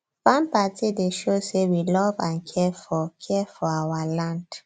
farm party dey show say we love and care for care for our land